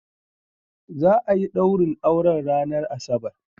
Za'ayi ɗaurin auren ranar asabar